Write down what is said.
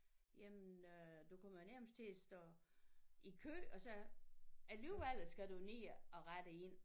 Jamen øh du kommer jo nærmest til at stå i kø og så alligvel skal du ned og rette ind